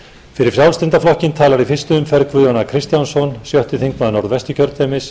fyrir frjálslynda flokkinn talar í fyrstu umferð guðjón a kristjánsson sjötti þingmaður norðvesturkjördæmis